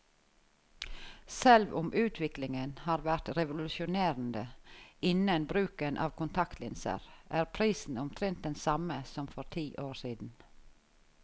Selv om utviklingen har vært revolusjonerende innen bruken av kontaktlinser, er prisen omtrent den samme som for ti år siden.